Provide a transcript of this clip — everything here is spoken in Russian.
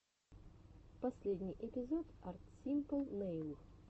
последний эпизод арт симпл нэйл